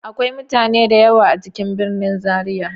Akwai mutane da yawa a cikin birnin zaria.